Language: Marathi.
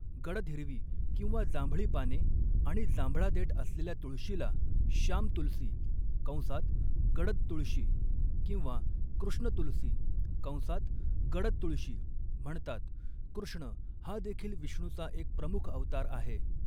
गडद हिरवी किंवा जांभळी पाने आणि जांभळा देठ असलेल्या तुळशीला श्याम तुलसी कंसात 'गडद तुळशी' किंवा कृष्ण तुलसी कंसात 'गडद तुळशी' म्हणतात, कृष्ण हा देखील विष्णूचा एक प्रमुख अवतार आहे.